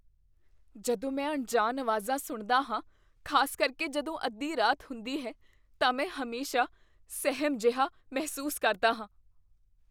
ਜਦੋਂ ਮੈਂ ਅਣਜਾਣ ਆਵਾਜ਼ਾਂ ਸੁਣਦਾ ਹਾਂ, ਖ਼ਾਸ ਕਰਕੇ ਜਦੋਂ ਅੱਧੀ ਰਾਤ ਹੁੰਦੀ ਹੈ ਤਾਂ ਮੈਂ ਹਮੇਸ਼ਾ ਸਹਿਮ ਜਿਹਾ ਮਹਿਸੂਸ ਕਰਦਾ ਹਾਂ।